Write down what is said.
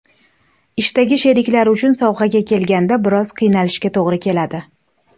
Ishdagi sheriklar uchun sovg‘aga kelganda, biroz qiynalishga to‘g‘ri keladi.